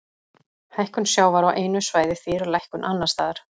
Hækkun sjávar á einu svæði þýðir lækkun annars staðar.